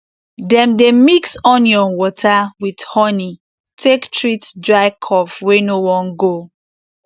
dem dey mix onion water with honi take treat dry cough wey no wan go